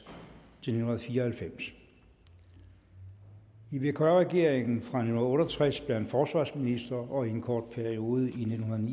til nitten fire og halvfems i vkr regeringen fra nitten otte og tres blev han forsvarsminister og i en kort periode i nitten